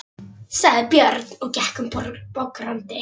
sagði Björn og gekk um bograndi.